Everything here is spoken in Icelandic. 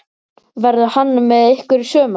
Verður hann með ykkur í sumar?